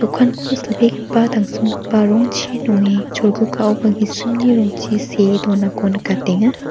okanko silbegipa tangsimgipa rongchi nonge cholgugaoba gisimni rongchi see donako nikatenga.